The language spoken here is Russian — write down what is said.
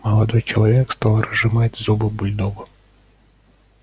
молодой человек стал разжимать зубы бульдогу